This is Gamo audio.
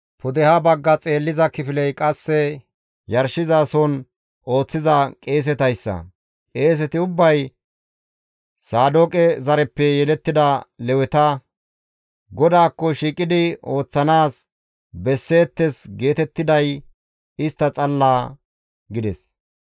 Pudeha bagga xeelliza kifiley qasse yarshizason ooththiza qeesetayssa. Qeeseti ubbay Saadooqe zareppe yelettida Leweta; GODAAKKO shiiqidi ooththanaas besseettes geetettiday istta xalla» gides.